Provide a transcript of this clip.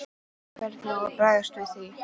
Hvernig á að bregðast við því?